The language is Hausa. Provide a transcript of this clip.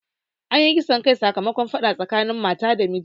Anyi kisan kai sakamakon faɗa tsakanin mata da miji